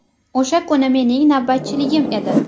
O‘sha kuni mening navbatchiligim edi.